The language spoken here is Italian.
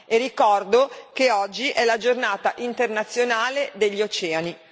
E ricordo che oggi è la Giornata internazionale degli oceani.